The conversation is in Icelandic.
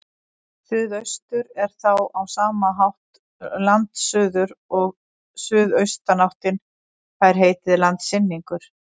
Suðaustur er þá á sama hátt landsuður og suðaustanáttin fær heitið landsynningur.